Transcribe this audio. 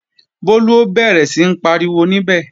Bólú ó bẹ̀rẹ̀ sí ń pariwo níbẹ̀